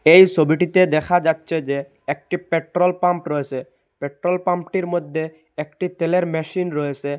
এই সবিটিতে দেখা যাচ্ছে যে একটি পেট্রোল পাম্প রয়েসে পেট্রোল পাম্পেটির মধ্যে একটি তেলের মেশিন রয়েসে।